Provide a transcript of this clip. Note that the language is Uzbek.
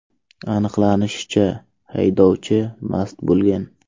Aniqlanishicha, haydovchi mast bo‘lgan.